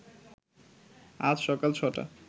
আজ সকাল ছ’টা